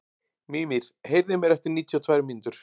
Mímir, heyrðu í mér eftir níutíu og tvær mínútur.